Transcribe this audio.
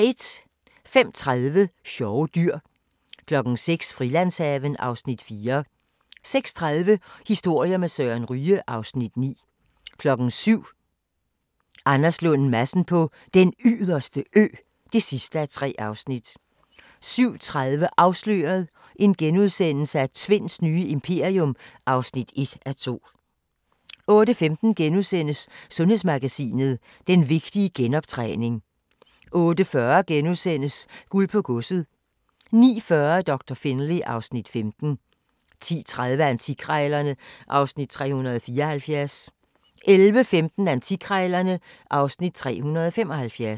05:30: Sjove dyr 06:00: Frilandshaven (Afs. 4) 06:30: Historier med Søren Ryge (Afs. 9) 07:00: Anders Lund Madsen på Den Yderste Ø (3:3) 07:30: Afsløret – Tvinds nye imperium (1:2)* 08:15: Sundhedsmagasinet: Den vigtige genoptræning * 08:40: Guld på Godset * 09:40: Doktor Finlay (Afs. 15) 10:30: Antikkrejlerne (Afs. 374) 11:15: Antikkrejlerne (Afs. 375)